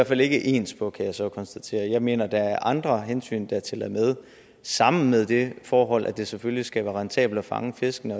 fald ikke ens på kan jeg så konstatere jeg mener at der er andre hensyn der tæller med sammen med det forhold at det selvfølgelig skal være rentabelt at fange fiskene